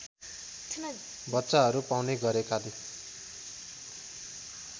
बच्चाहरु पाउने गरेकाले